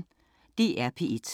DR P1